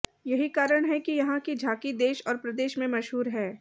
यही कारण है कि यहां की झांकी देश और प्रदेश में मशहूर है